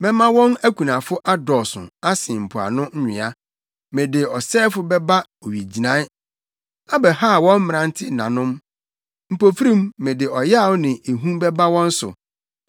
Mɛma wɔn akunafo adɔɔso asen mpoano nwea. Mede ɔsɛefo bɛba owigyinae, abɛhaw wɔn mmerante nanom; mpofirim mede ɔyaw ne ehu bɛba wɔn so.